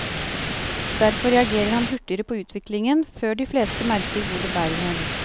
Derfor reagerer han hurtigere på utviklingen, før de fleste merker hvor det bærer hen.